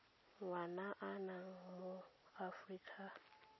ngwana a nna mo aforika